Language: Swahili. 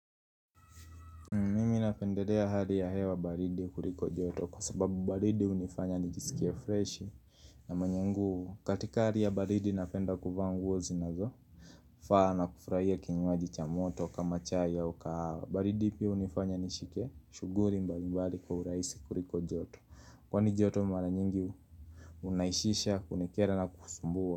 Mi napendelea hali ya hewa baridi kuliko joto kwa sababu baridi hunifanya nijisikie fresh na maana yangu katika hali ya baridi napenda kuvaa nguo zinazofaa na kufurahia kinywaji cha moto kama chai au kahawa. Baridi pia hunifanya nishike shughuli mbalimbali kwa urahisi kuliko joto. Kwani joto mara nyingi unaishisha kunikera na kusumbua.